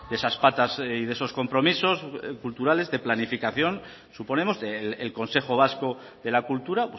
esas patas y de esos compromisos culturales de planificación suponemos del consejo vasco de la cultura